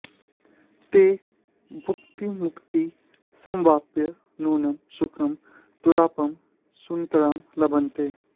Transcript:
ते भुक्तिमुक्ती समवाप्य नूनं सुखं दुरापं सुतरां लभन्ते